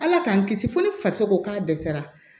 Ala k'an kisi fo ni faso ko k'a dɛsɛra